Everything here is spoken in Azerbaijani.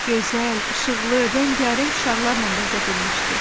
Gözəl, işıqlı, rəngarəng şarlarla bəzədilmişdi.